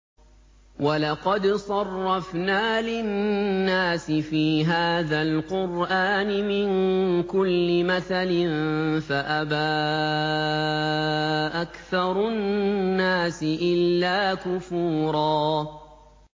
وَلَقَدْ صَرَّفْنَا لِلنَّاسِ فِي هَٰذَا الْقُرْآنِ مِن كُلِّ مَثَلٍ فَأَبَىٰ أَكْثَرُ النَّاسِ إِلَّا كُفُورًا